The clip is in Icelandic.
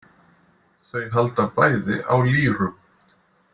Þau halda bæði á lýrum.